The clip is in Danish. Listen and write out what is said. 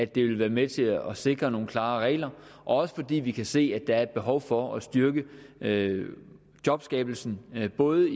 det vil være med til at sikre nogle klarere regler og fordi vi kan se at der er et behov for at styrke jobskabelsen i både